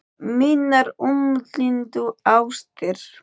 Mínar umliðnu ástir